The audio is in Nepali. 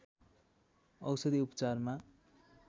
औषधि उपचारमा